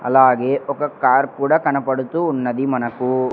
అలాగే ఒక కార్ కూడా కనపడుతూ ఉన్నది మనకు.